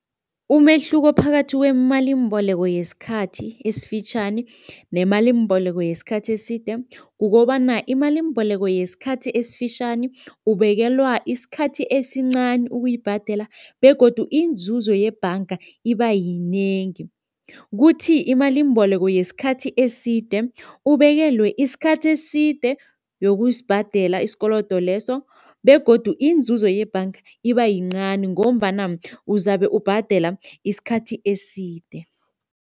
Umehluko phakathi kwemalimboleko yesikhathi esifitjhani nemalimboleko yesikhathi eside kukobana imalimboleko yesikhathi esifitjhani ubekelwa isikhathi esincani ukuyibhadela begodu inzuzo yebhanga iba yinengi, kuthi imalimboleko yesikhathi eside ubekelwe isikhathi eside yokusibhadela isikolodo leso begodu inzuzo yebhanga iba yincani ngombana uzabe ubhadela isikhathi eside.